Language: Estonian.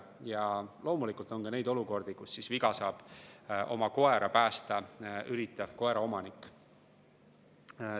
Ja loomulikult on ka neid olukordi, kus viga saab oma koera päästa üritav koeraomanik.